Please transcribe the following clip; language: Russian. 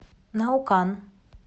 наукан